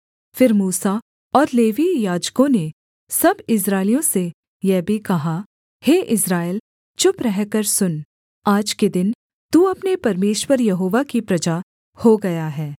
फिर मूसा और लेवीय याजकों ने सब इस्राएलियों से यह भी कहा हे इस्राएल चुप रहकर सुन आज के दिन तू अपने परमेश्वर यहोवा की प्रजा हो गया है